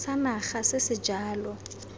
sa naga se se jalo